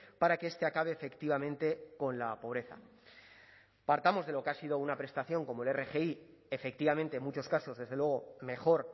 para que este acabe efectivamente con la pobreza partamos de lo que ha sido una prestación como la rgi efectivamente en muchos casos desde luego mejor